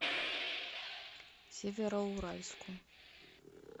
североуральску